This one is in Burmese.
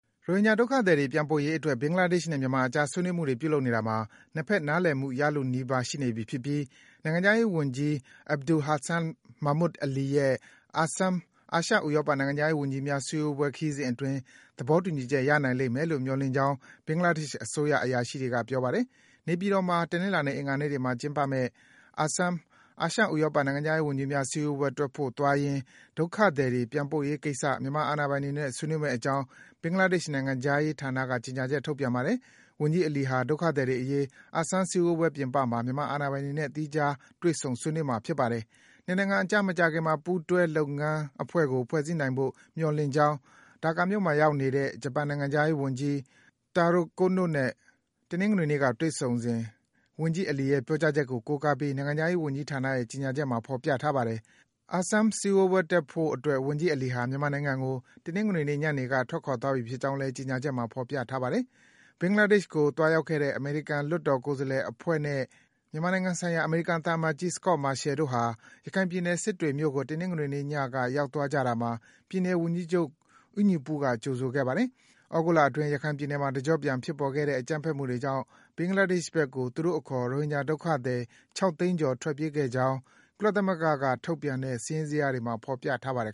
ရိုဟင်ဂျာ ဒုက္ခသည်တွေ ပြန်ပို့ရေးအတွက် ဘင်္ဂလားဒေ့ရှ်နဲ့ မြန်မာအကြား ဆွေးနွေးမှုတွေ ပြုလုပ်နေတာမှာ နှစ်ဘက် နားလည်မှု ရလုနီးပါး ရှိနေပြီဖြစ်ပြီး နိုင်ငံခြားရေး ဝန်ကြီး Abul Hasan Mahmood Ali ရဲ့ ASEM အာရှ - ဥရောပ နိုင်ငံခြားရေးဝန်ကြီးများ စည်းဝေးပွဲ ခရီးစဉ်အတွင်း သဘောတူညီချက် ရနိုင်လိမ့်မယ်လို့ မျှော်လင့်ကြောင်း ဘင်္ဂလားဒေ့ရှ် အစိုးရ အရာရှိတွေက ပြောပါတယ်။ နေပြည်တော်မှာ တနင်္လာနဲ့ အင်္ဂါနေ့တွေမှာ ကျင်းပမယ့် ASEM အာရှ - ဥရောပ နိုင်ငံခြားရေးဝန်ကြီးများ စည်းဝေးပွဲတက်ဖို့သွားရင်း ဒုက္ခသည်တွေ ပြန်ပို့ရေးကိစ္စ မြန်မာ အာဏာပိုင်တွေနဲ့ ဆွေးနွေးမယ့်အကြောင်း ဘင်္ဂလားဒေ့ရှ် နိုင်ငံခြားရေးဌာနက ကြေညာချက် ထုတ်ပြန်ပါတယ်။ ဝန်ကြီး Ali ဟာ ဒုက္ခသည်တွေ အရေး ASEM စည်းဝေးပွဲ ပြင်ပမှာ မြန်မာ အာဏာပိုင်တွေနဲ့ သီးခြား တွေ့ဆုံ ဆွေးနွေးမှာ ဖြစ်ပါတယ်။ နှစ်နိုင်ငံအကြား မကြာခင်မှာ ပူးတွဲ လုပ်ငန်းအဖွဲ့ကို ဖွဲ့စည်းနိုင်ဖို့ မျှော်လင့်ကြောင်း ဒါကာမြို့မှာ ရောက်နေတဲ့ ဂျပန်နိုင်ငံခြားရေးဝန်ကြီး Taro Kono နဲ့ တနင်္ဂနွေနေ့က တွေ့ဆုံစဉ် ဝန်ကြီး Ali ရဲ့ ပြောကြားချက်ကို ကိုးကားပြီး နိုင်ငံခြားရေးဝန်ကြီးဌာနရဲ့ ကြေညာချက်မှာ ဖော်ပြထားပါတယ်။ ASEM စည်းဝေးပွဲတက်ဖို့အတွက် ဝန်ကြီး Ali ဟာ မြန်မာနိုင်ငံကို တနင်္ဂနွေနေ့ညနေက ထွက်ခွာသွားပြီ ဖြစ်ကြောင်းလည်း ကြေညာချက်မှာ ဖော်ပြထားပါတယ်။ ဘင်္ဂလားဒေ့ရှ်ကို သွားရောက်ခဲ့တဲ့ အမေရိကန် လွှတ်တော်ကိုယ်စားလှယ်အဖွဲ့နဲ့ မြန်မာနိုင်ငံဆိုင်ရာ အမေရိကန် သံအမတ်ကြီး Scot Marciel တို့ဟာ ရခိုင်ပြည်နယ်၊ စစ်တွေမြို့ကို တနင်္ဂနွေနေ့ညက ရောက်သွားကြတာမှာ ပြည်နယ် ဝန်ကြီးချုပ် ဦးညီပုက ကြိုဆိုခဲ့ပါတယ်။ သြဂုတ်လအတွင်း ရခိုင်ပြည်နယ်မှာ တကျော့ပြန် ဖြစ်ပေါ်ခဲ့တဲ့ အကြမ်းဖက်မှုတွေကြောင့် ဘင်္ဂလားဒေ့ရှ်ဘက်ကို သူူတို့အခေါ် ရိုဟင်ဂျာ ဒုက္ခသည် ၆ သိန်းကျော် ထွက်ပြေးခဲ့ကြောင်း ကုလသမဂ္ဂက ထုတ်ပြန်တဲ့ စာရင်းဇယားတွေမှာ ဖော်ပြထားပါတယ်